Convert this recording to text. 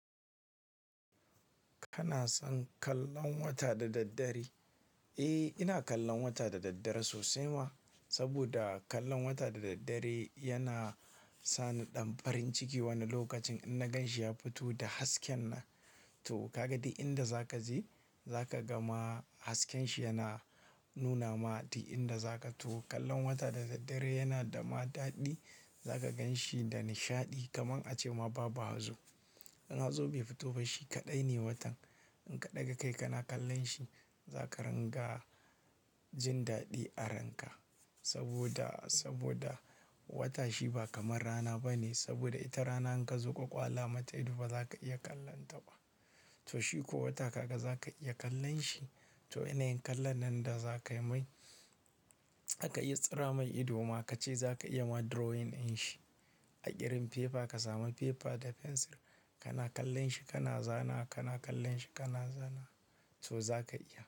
Kana son kallon wata da daddare? Eh, ina kallon wata da daddare sosai ma. Saboda kallon wata da daddare yana sani ɗan farin ciki wani lokacin in na gan shi ya fito da hasken nan. To ka ga di inda za ka je, za ka ga ma hasken shi yana nuna ma di inda za ka. To kallon wata da daddare yana da ma daɗi. Za ka gan shi da nishaɗi kamar a ce ma baba hazo. In hazo bai fito ba shi kaɗai ne watan. In ka ɗaga kai kana kallon shi zaka ranga jin daɗi a ranka. Saboda, saboda wata shi ba kamar rana ba ne. Saboda ita rana in ka zo ka kwala mata ido ba za ka iya kallon ta ba. To shi ko wata kaga za ka iya kallon shi. To yanayin kallon nan da za kai mai, zaka yi tsira mai ido ma ka ce za ka iya ma drawing in shi a ƙirin paper. Ka sami paper da fensir kana kallon shi kana zana, kana kallon shi kana zana. To za ka iya.